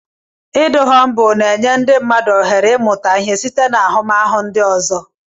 Ịdị humbụl na-enye ndị mmadụ ohere ịmụta ihe site n'ahụmahụ ndị ọzọ.